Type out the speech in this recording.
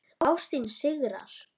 Ástin sigrar.